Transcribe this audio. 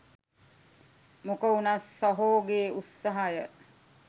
මොක උනත් සහෝගේ උත්සහය